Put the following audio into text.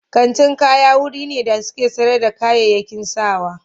Kantin kaya wuri ne da suke sayar da kayayyaki sawa.